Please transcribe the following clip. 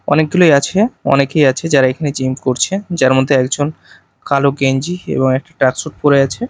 অনেকগুলোই আছে অনেকেই আছে যারা এখানে জিম করছে যার মধ্যে একজন কালো গেঞ্জি এবং একটা ট্র্যাকসুট পরে আছে।